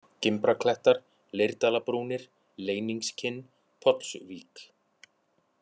Gimbraklettar, Leirdalabrúnir, Leyningskinn, Pollsvík